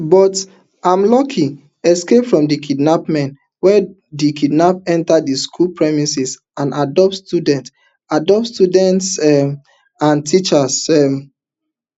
but am luckily escape from di kidnapmen wen di kidnap enta di school premises and abduct students abduct students um and teachers um